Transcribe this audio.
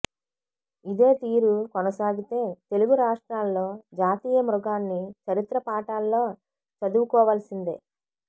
ఇదే తీరు కొనసాగితే తెలుగు రాష్ట్రాల్లో జాతీయ మృగాన్ని చరిత్ర పాఠాల్లో చదువుకోవాల్సిందే